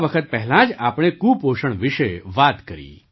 થોડા વખત પહેલાં જ આપણે કુપોષણ વિશે વાત કરી